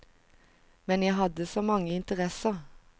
Men jeg hadde så mange interesser.